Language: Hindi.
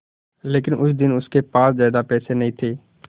लेकिन उस दिन उसके पास ज्यादा पैसे नहीं थे